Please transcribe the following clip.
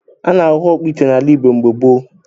A na-ahụ ọkpụ ite n’ala Igbo mgbe gboo